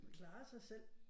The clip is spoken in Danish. Klarer sig selv